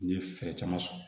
N ye fɛɛrɛ caman sɔrɔ